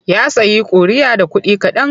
Ya sayi ƙuri'a da kuɗi kaɗan.